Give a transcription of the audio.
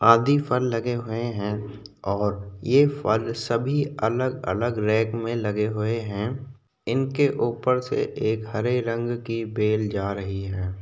आदि फल लगे हुए है और ये फल सभी अलग अलग रैक में लगे हुए है इनके ऊपर से एक हरे रंग की बेल जा रही है।